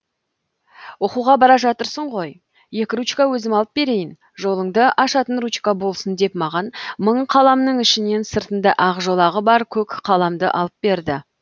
оқуға бара жатырсың ғой екі ручка өзім алып берейін жолыңды ашатын ручка болсын деп маған мың қаламның ішінен сыртында ақ жолағы бар көк қаламды алып берді